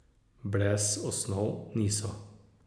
Brez osnov niso.